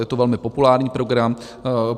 Je to velmi populární program.